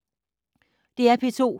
DR P2